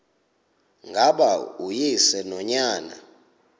ngaba uyise nonyana